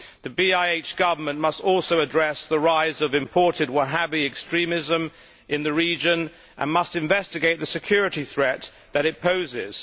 The BiH Government must also address the rise of imported Wahhabi extremism in the region and must investigate the security threat that it poses.